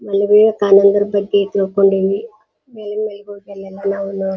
ಮನೆ ವಿವೇ ಕಾನಂದರ ಬಗ್ಗೆ ತಿಳ್ಕೊಂಡಿವಿ ಮೇಲಿಂದ್ ಮೇಲೆ ಹೋಟೆಲ್ ಎಲ್ಲ ಅವ್ನ್ --